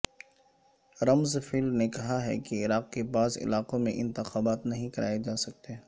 رمز فیلڈ نے کہا ہے کہ عراق کے بعض علاقوں میں انتخابات نہیں کرائے جاسکتے